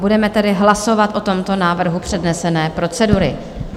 Budeme tedy hlasovat o tomto návrhu přednesené procedury.